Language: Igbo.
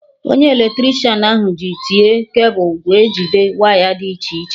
Onye Eletricịanahụ ji tie cable wee jide waya dị iche iche